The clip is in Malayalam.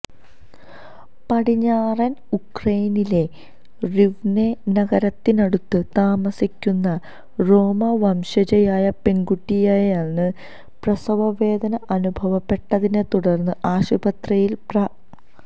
പടിഞ്ഞാറൻ ഉക്രെയിനിലെ റിവ്നെ നഗരത്തിനടുത്ത് താമസിക്കുന്ന റോമാ വംശജയായ പെൺകുട്ടിയെയാണ് പ്രസവവേദന അനുഭവപ്പെട്ടതിനെ തുടർന്ന് ആശുപത്രിയിൽ പ്ര